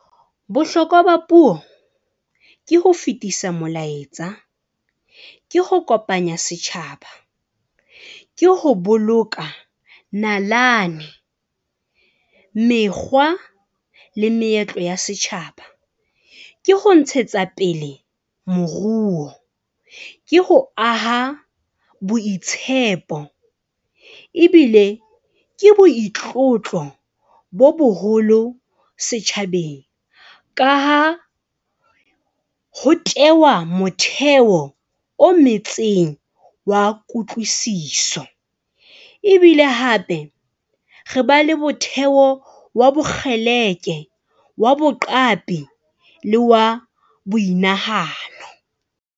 Bohlokwa ba puo ke ho fetisa molaetsa, ke ho kopanya setjhaba, ke ho boloka nalane, mekgwa le meetlo ya setjhaba. Ke ho ntshetsa pele moruo. Ke ho aha boitshepo ebile ke boitlotlo bo boholo setjhabeng ka ha, ho tehwa motheo o metseng wa kutwlisiso ebile hape re ba le motheo wa bokgeleke wa boqapi le wa boinahano.